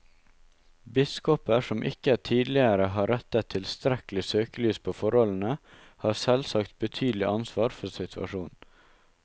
Biskoper som ikke tidligere har rettet tilstrekkelig søkelys på forholdene, har selvsagt betydelig ansvar for situasjonen.